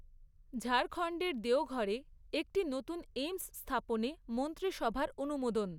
ঝাড়খন্ডের দেওঘরে একটি নতুন এইমস্ স্থাপনে মন্ত্রিসভার অনুমোদন